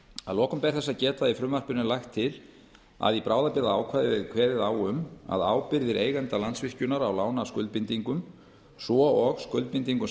að lokum ber þess að geta að í frumvarpinu er lagt til að í bráðabirgðaákvæði verði kveðið á um að ábyrgðir eigenda landsvirkjunar á lánaskuldbindingum svo og skuldbindingum